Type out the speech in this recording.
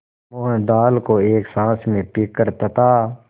मोहन दाल को एक साँस में पीकर तथा